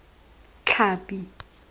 tlhapi